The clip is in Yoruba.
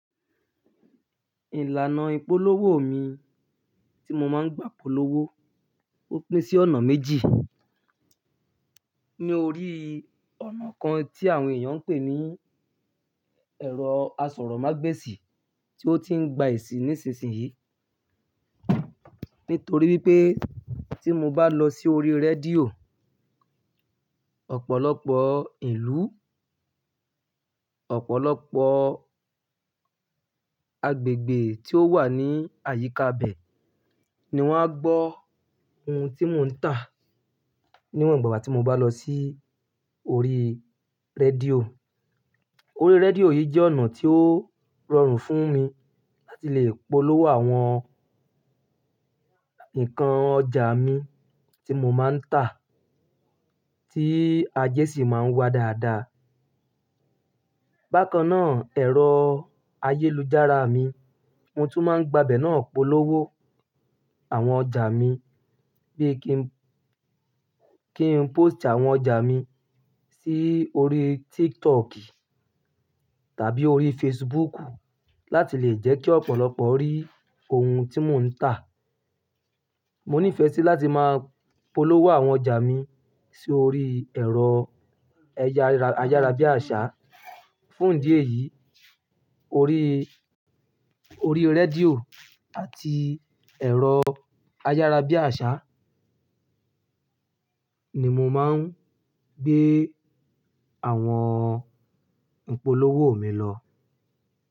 Ìlànà ìpolówó mi tí mo máa ń gbá polówó, ó pín sí ọ̀nà méjì. Ni orí ọ̀nà kan tí àwọn èèyàn ń pè ní ẹ̀rọ asọ̀rọ̀mágbèsì tí ó ti ń gba èsì nísinsìnyí. Nítorí wípé tí mo bá lọ sí orí rédíò, ọ̀pọ̀lọpọ̀ ìlú, ọ̀pọ̀lọpọ̀ agbègbè tí ó wà ní àyíká bẹ̀ ni wọ́n á gbọ́ ohun tí mo ń tà. Níwọ̀n ìgbà tí mo bá lọ sí orí rédíò. Orí rédíò yìí jẹ́ ọ̀nà tí ó rọrùn fún mi láti lè polówó àwọn nǹkan ọjà mi tí mo máa ń tà tí ajé sì máa ń wá dáadáa. Bákan náà, ẹ̀rọ ayélujára mi, mo tún máa ń gba bẹ̀ náà polówó àwọn ọjà mi. Bí kí n, kí n pósìtì àwọn ọjà mi sí orí TikTok tàbí orí Facebook láti lè jẹ́ kí ọ̀pọ̀lọpọ̀ rí ohun tí mo ń tà. Mo nífẹ̀ẹ́ sí láti máa polówó àwọn ọjà mi sí orí ẹ̀rọ ẹyá- ayárabíàṣá. Fún ìdí èyí, orí, orí rédíò àti ẹ̀rọ ayárabíàṣá ni mo máa ń gbé àwọn ìpolówó mi lọ.